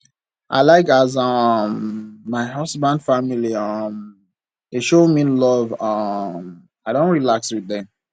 i like as um my husband family um dey show me love um i don relax wit dem